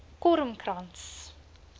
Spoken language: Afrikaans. kormkrans